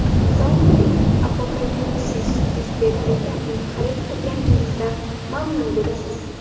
Zombi-apokalipsis yuz berganda uni xarid qilganligingizdan mamnun bo‘lasiz.